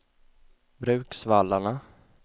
Bruksvallarna